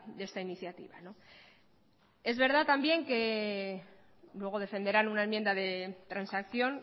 de esta iniciativa es verdad también que luego defenderán una enmienda de transacción